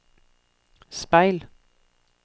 speil